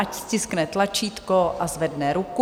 Ať stiskne tlačítko a zvedne ruku.